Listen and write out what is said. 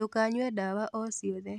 Ndũkanyue ndawa o ciothe